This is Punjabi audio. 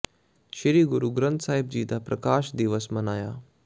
ਸ੍ਰੀ ਗੁਰੂ ਗ੍ਰੰਥ ਸਾਹਿਬ ਜੀ ਦਾ ਪ੍ਰਕਾਸ਼ ਦਿਵਸ ਮਨਾਇਆ